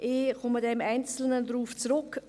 Ich komme dann im Einzelnen darauf zurück.